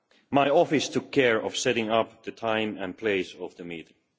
My office took care of setting up the time and place of the meeting.